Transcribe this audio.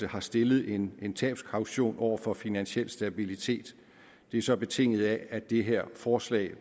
har stillet en en tabskaution over for finansiel stabilitet det er så betinget af at det her forslag